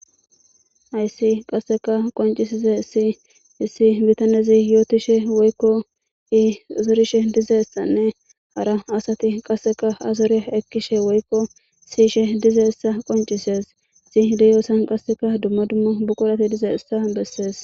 aysi qasseka qoncisise sii issi bitanezi yootishe woykko i zorishe diza issanne hara asati qasseka azore ekkishe woykko siyishe dizassa qoncisees si deyoosan qasseka dumma dummo buqolati diza issa bessees